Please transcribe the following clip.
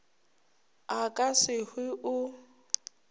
a ka se hwe o